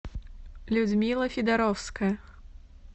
людмила федоровская